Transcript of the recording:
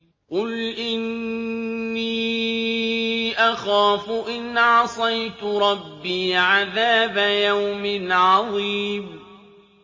قُلْ إِنِّي أَخَافُ إِنْ عَصَيْتُ رَبِّي عَذَابَ يَوْمٍ عَظِيمٍ